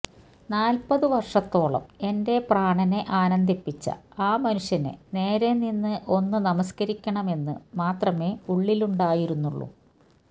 നാൽപ്പതു വർഷത്തോളം എന്റെ പ്രാണനെ ആനന്ദിപ്പിച്ച ആ മനുഷ്യനെ നേരെനിന്ന് ഒന്നു നമസ്കരിക്കണമെന്നു മാത്രമേ ഉള്ളിലുണ്ടായിരുന്നുള്ളൂ